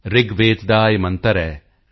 ਰਿਗਵੇਦ ਦਾ ਇਹ ਮੰਤਰ ਹੈ